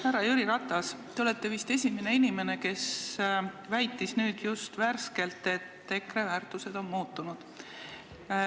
Härra Jüri Ratas, te olete vist esimene inimene, kes väitis just nüüd, et EKRE väärtused on muutunud.